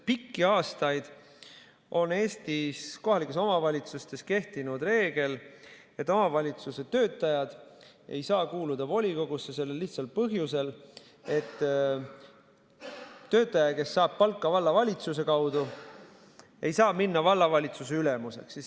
Pikki aastaid on Eestis kohalikes omavalitsustes kehtinud reegel, et omavalitsuse töötajad ei saa kuuluda volikogusse, sellel lihtsal põhjusel, et töötaja, kes saab palka vallavalitsuse kaudu, ei saa minna vallavalitsusse ülemuseks.